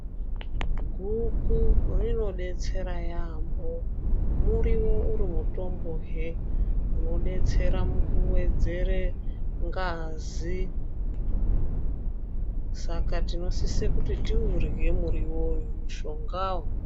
Guku rinodetsera yaambo, muriwo uri mutombohe unodetsera mukuwedzere ngazi. Saka tinosise kuti tiurye muriwowo, mushongawo.